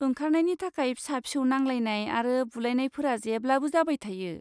ओंखारनायनि थाखाय फिसा फिसौ नांलायनाय आरो बुलायनायफोरा जेब्लाबो जाबाय थायो।